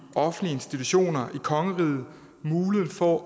offentlige institutioner i kongeriget muligheden for